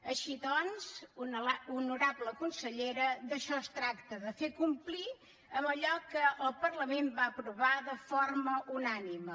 així doncs honorable consellera d’això es tracta de fer complir allò que el parlament va aprovar de forma unànime